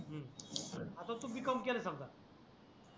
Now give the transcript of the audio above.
अं आता तु b. Com केल समजा